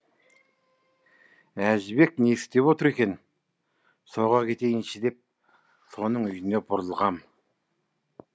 әжібек не істеп отыр екен соға кетейінші деп соның үйіне бұрылғам